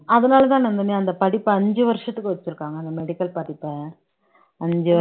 அதனாலதான் நந்தினி அந்த படிப்பை அஞ்சு வருஷத்துக்கு வைச்சிருக்காங்க அந்த medical படிப்பை அஞ்சு வரு